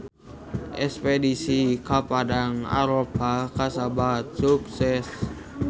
Espedisi ka Padang Arafah kasebat sukses